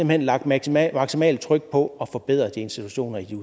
hen lagt maksimalt maksimalt tryk på at forbedre de institutioner i